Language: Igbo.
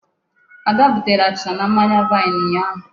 Ada butere achịcha na mmanya vine ụnyaahụ.